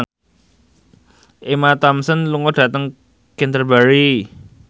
Emma Thompson lunga dhateng Canterbury